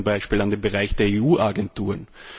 Ich denke da zum Beispiel an den Bereich der EU Agenturen.